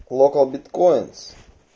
локал биткоинс